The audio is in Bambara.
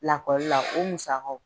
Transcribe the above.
Lakɔlila o musakaw